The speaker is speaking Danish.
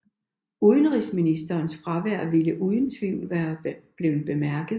Udenrigsministerens fravær ville uden tvivl være blevet bemærket